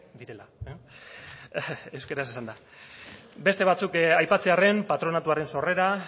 direla euskaraz esanda beste batzuk aipatzearren patronatuaren sorrera